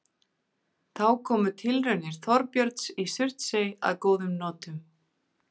Þá komu tilraunir Þorbjörns í Surtsey að góðum notum.